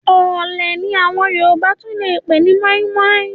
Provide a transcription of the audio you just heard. Ọ̀ọ̀lẹ̀ ni àwọn Yorùbá tún lè pè ní mọ́ímọ́í.